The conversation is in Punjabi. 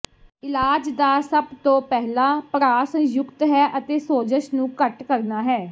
ਇਲਾਜ ਦਾ ਸਭ ਤੋਂ ਪਹਿਲਾ ਪੜਾਅ ਸੰਯੁਕਤ ਹੈ ਅਤੇ ਸੋਜਸ਼ ਨੂੰ ਘੱਟ ਕਰਨਾ ਹੈ